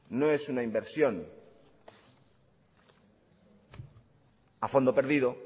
no es una inversión a fondo perdido